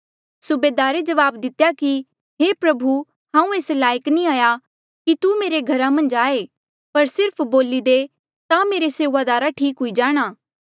सुबेदारे जवाब दितेया कि हे प्रभु हांऊँ एस लायक नी हाया कि तू मेरे घरा मन्झ आये पर सिर्फ बोली दे ता मेरे सेऊआदारा ठीक हुई जाणा